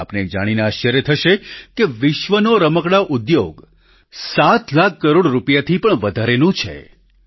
આપને એ જાણીને આશ્ચર્ય થશે કે વિશ્વનો રમકડાં ઉદ્યોગ 7 લાખ કરોડ રૂપિયાથી પણ વધારેનો છે